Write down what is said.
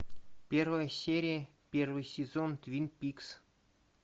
первая серия первый сезон твин пикс